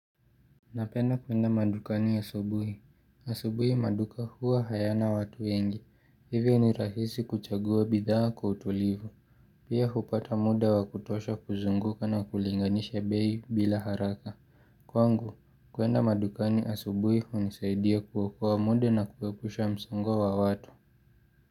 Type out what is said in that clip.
Napenda kuenda madukani asubuhi. Asubuhi maduka huwa hayana watu wengi. Hivyo ni rahisi kuchagua bidhaa kwa utulivu. Pia hupata muda wa kutosha kuzunguka na kulinganisha bei bila haraka. Kwangu, kuenda madukani asubuhi hunisaidia kuokoa muda na kuwepusha msongo wa watu.